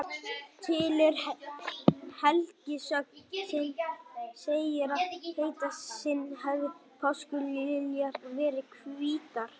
Til er helgisögn sem segir að eitt sinn hafi páskaliljurnar verið hvítar.